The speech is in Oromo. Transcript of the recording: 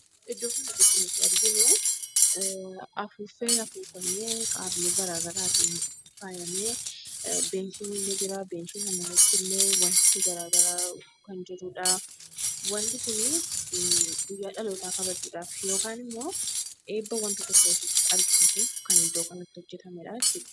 Iddoo kanatti kan nuti arginu afuuffee afuufamee: haalluu garaa garaatin faayame. Teessoon illee jira. Teessoo sana irratti ammo wanti gara garaa kan jirudha. Wanti kun guyyaa dhalootaa kabajuudhaaf yookaan ammoo eebba wanta tokkootiif agarsiisuun kan iddoo kanatti hojjetamedha jechuudha.